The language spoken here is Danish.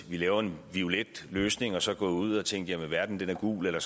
vi laver en violet løsning og så er gået ud og har tænkt at verden er gul eller